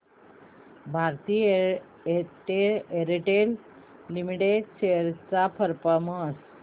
Bharti Airtel limited shares चा performance